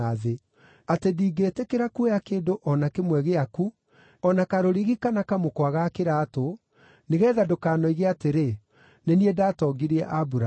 atĩ ndingĩĩtĩkĩra kuoya kĩndũ o na kĩmwe gĩaku, o na karũrigi kana kamũkwa ga kĩraatũ, nĩgeetha ndũkanoige atĩrĩ, ‘Nĩ niĩ ndatongirie Aburamu.’